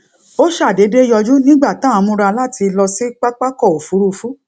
ó ṣàdédé yọjú nígbà tá à ń múra láti lọ sí pápákò òfurufú